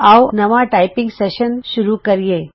ਆਉ ਅਸੀਂ ਨਵਾਂ ਟਾਈਪਿੰਗ ਸੈਸ਼ਨ ਸ਼ੁਰੂ ਕਰੀਏ